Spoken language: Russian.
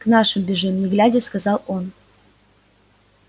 к нашим бежим не глядя сказал он